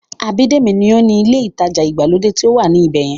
Abídèmí ní ó ni ilé ìtajà ìgbàlódé tí ó wà ní ibẹ̀yẹn